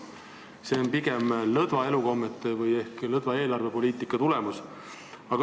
Ja see on pigem lõtvade elukommete ehk lõdva eelarvepoliitika tagajärg.